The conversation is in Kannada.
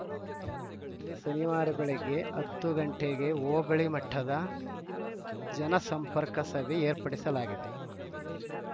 ಶನಿವಾರ ಬೆಳಗ್ಗೆ ಹತ್ತು ಗಂಟೆಗೆ ಹೋಬಳಿ ಮಟ್ಟದ ಜನಸಂಪರ್ಕ ಸಭೆ ಏರ್ಪಡಿಸಲಾಗಿದೆ